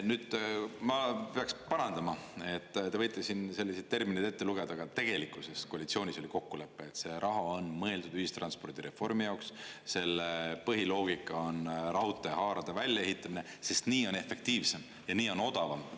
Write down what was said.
Nüüd ma peaks parandama, et te võite siin selliseid termineid ette lugeda, aga tegelikkuses koalitsioonis oli kokkulepe, et see raha on mõeldud ühistranspordireformi jaoks, selle põhiloogika on raudtee haarade väljaehitamine, sest nii on efektiivsem ja nii on odavam.